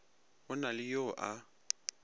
go na le yo a